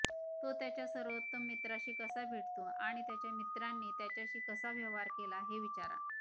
तो त्याच्या सर्वोत्तम मित्राशी कसा भेटतो आणि त्याच्या मित्रांनी त्याच्याशी कसा व्यवहार केला हे विचारा